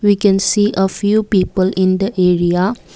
we can see a few people in the area.